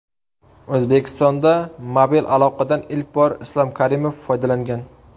O‘zbekistonda mobil aloqadan ilk bor Islom Karimov foydalangan.